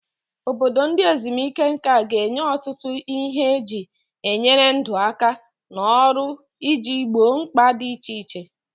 Obodo ndị ezumike nka ga-enye ọtụtụ ihe eji enyere ndụ aka na ọrụ iji gboo mkpa dị iche iche.